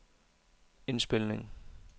indspilning